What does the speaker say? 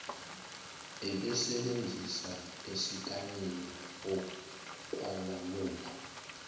ebesebenzisa esikanina okwalamula